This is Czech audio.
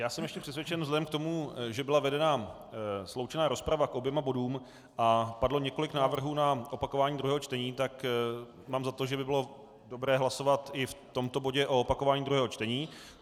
Já jsem ještě přesvědčen vzhledem k tomu, že byla vedena sloučená rozprava k oběma bodům a padlo několik návrhů na opakování druhého čtení, tak mám za to, že by bylo dobré hlasovat i v tomto bodě o opakování druhého čtení.